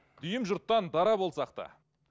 дүйім жұрттан дара болсақ та